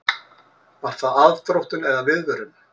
Var það aðdróttun eða viðvörun?